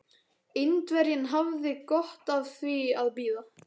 Indverjinn hafði gott af því að bíða.